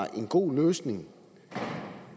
at en god løsning